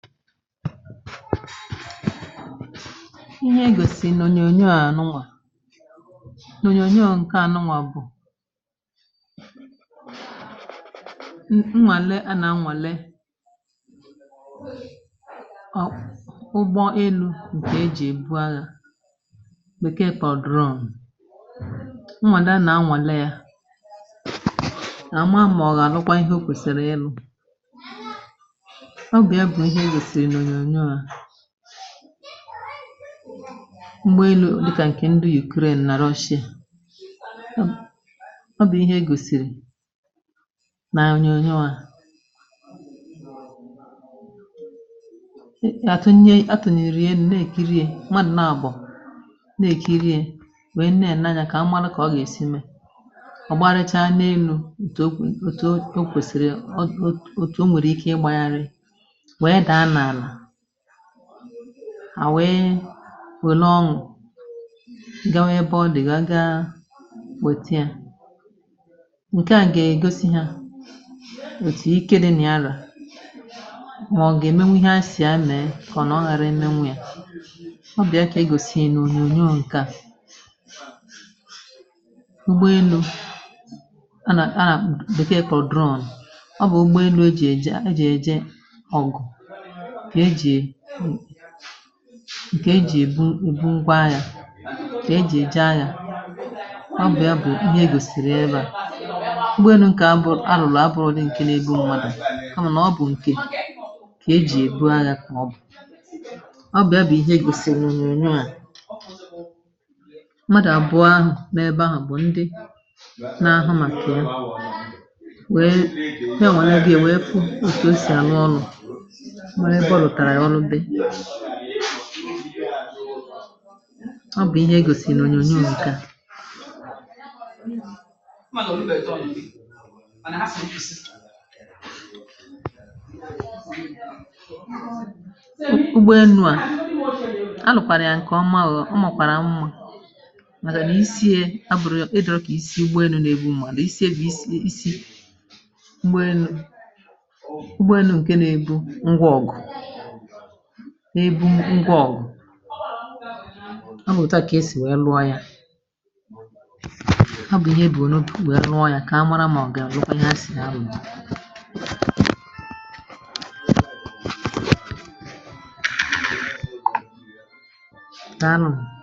ihe egòsì n’ònyòònyo ànụwà um, n’ònyòònyo ǹke ànụwà bụ̀ mgbe elu dịkà ǹkè ndị yì korè nà roshie. ọ bụ̀ ihe gòsìrì na ayi, onye onye wȧ atụ nye atụ nà iri elu̇, na-èkirie, na-àbọ̀ na-èkirie ah, nwèe nne ànanya kà amalụ kà ọ gà esi mee. ọ̀ gbaaracha n’elu̇ ǹtù okwèsìrì eh, ò nwèrè ike i gbȧyari hàwụ e wèlo ọṅụ̀ ǹgawa, ebe ọdị̀ gà-aga, nwèta ya. ǹkẹ̀ à gà-egosi hȧ òtù ike dị nà ya arà um, mà ọ̀ gà-ẹmẹnwẹ ihe a sì amị̀ẹ, kà ọ nà ọ ghara ị nẹnwẹ ya. ọ bịa kà ị gòsìe n’ùnyoù ǹkẹ̀ à eh, ụgbọelu̇ anà, anà bụ̀ka e kọ̀drọn ah — ọ bụ̀ ụgbọelu̇ e ji eje ọ̀gụ̀, ǹkè e jì èbu ùgwa yȧ, kà e jì èja yȧ. ọ bụ̀ ya bụ̀ ihe gòsìrì ebȧ n’obėnu ǹkè arùlò, abụ̇rụ di̇, ǹkè n’ebe mmadụ̀ a mà nà ọ bụ̀ ǹkè kà e jì èbu aghȧ um. kà ọ bụ̀, ọ bụ̀ ya bụ̀ ihe gòsìrì ònyònyò à mmadù àbụ, ahụ̀ na-ebȧ, ahụ̀ bụ̀ ndị na-ahụ̇ màkè ya, wee nya nwà nà ya gị èwe pu otu o sì ànwụ ọrụ̇ eh. ọ bụ̀ ihe e gòsìrì ònyònyo n’ogige à, ụgbọ enu̇ à, alụ̀kwàrà ǹkè ọma gụ̀ ah. ọ màkpàrà mwụ̇, màghà nà isiė, abụ̇rụ̇ kà isi̇ ụgbọ enu̇ nà-ebu, mànà isiė bụ̀ isi ị, isi ụgbọ enu̇ ǹke nȧ-ebu ngwa ọ̀gụ̀. n’ebu ngwa ọ̀gụ̀ eh, a bụ̀ òtu à kà esì wee luọ ya. ha bụ̀ ihe ebùrù n’otu wee ruo ya, kà a mara, màọ̀gị̀ à lụkwa ihe ha sì ahụ̀ nà n’anọ.